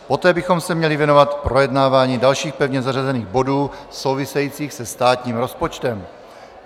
Poté bychom se měli věnovat projednávání dalších pevně zařazených bodů souvisejících se státním rozpočtem.